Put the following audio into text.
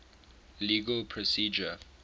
legal procedure